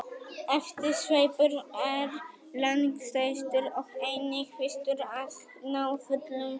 efsti sveipur er langstærstur og einnig fyrstur að ná fullum þroska